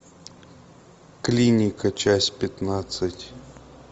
клиника часть пятнадцать